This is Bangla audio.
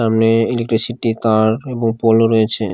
সামনে ইলেক্ট্রিসিটি তার এবং পোলও রয়েছে।